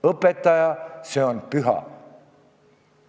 Õpetaja – see on püha.